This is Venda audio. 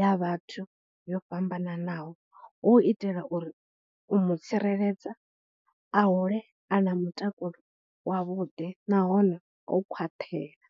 ya vhathu yo fhambananaho, hu u itela uri u mu tsireledza, a hule a na mutakalo wavhuḓi nahone o khwaṱhela.